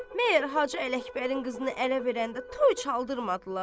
Məyər Hacı Ələkbərin qızını ərə verəndə toy çaldırmadılar?